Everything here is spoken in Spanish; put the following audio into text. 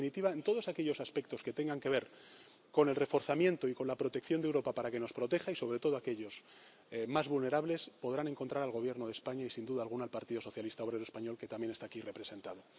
En definitiva, en todos aquellos aspectos que tengan que ver con el reforzamiento y con la protección de Europa para que nos proteja y, sobre todo, aquellos más vulnerables podrán encontrar al Gobierno de España y, sin duda alguna, al Partido Socialista Obrero Español, que también está aquí representado.